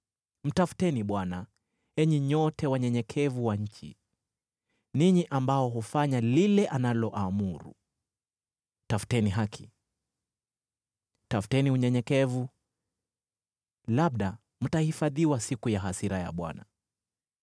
Mtafuteni Bwana , enyi nyote wanyenyekevu wa nchi, ninyi ambao hufanya lile analoamuru. Tafuteni haki, tafuteni unyenyekevu; labda mtahifadhiwa siku ya hasira ya Bwana .